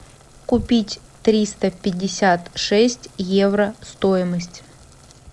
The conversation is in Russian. купить триста пятьдесят шесть евро стоимость